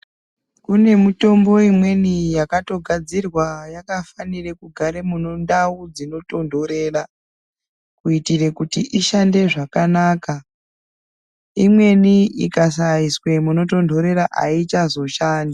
Kune mitombo imweni yakatogadzirwa yakafanire kugara mundau dzinotondorera kuitira kuti ishande zvakanaka. Imweni ikasaiswa munotondorera ayichazoshandi.